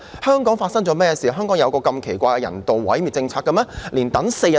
香港發生甚麼事，有一項如此奇怪的人道毀滅政策？